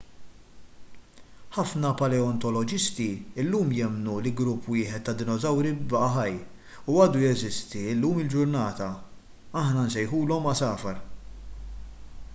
ħafna paleontoloġisti llum jemmnu li grupp wieħed ta' dinosawri baqa' ħaj u għadu jeżisti llum il-ġurnata aħna nsejħulhom għasafar